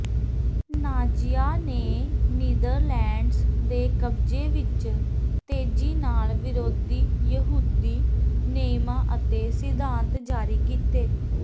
ਨਾਜ਼ੀਆਂ ਨੇ ਨੀਦਰਲੈਂਡਜ਼ ਦੇ ਕਬਜ਼ੇ ਵਿਚ ਤੇਜ਼ੀ ਨਾਲ ਵਿਰੋਧੀ ਯਹੂਦੀ ਨਿਯਮਾਂ ਅਤੇ ਸਿਧਾਂਤ ਜਾਰੀ ਕੀਤੇ